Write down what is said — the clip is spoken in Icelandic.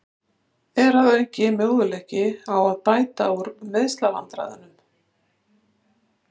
Er að auki möguleiki á að bæta úr meiðslavandræðunum?